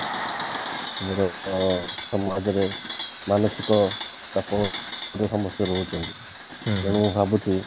ଅ ସମାଜରେ ମାନସିକ ତେଣୁ ମୁଁ ଭାବୁଛି